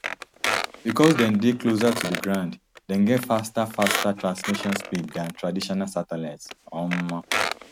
becos dem dey closer to di ground dem get faster faster transmission speeds dan traditional satellites um